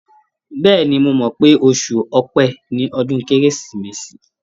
Bẹ́ẹ̀ni, mo mọ̀ pé oṣù Ọpẹ ni ọdún Kérésìmesì.